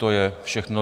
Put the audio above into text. To je všechno.